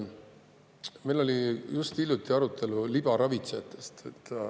Meil oli just hiljuti arutelu libaravitsejatest.